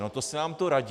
No to se nám to radí!